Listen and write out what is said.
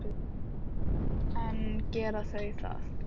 En gera þau það?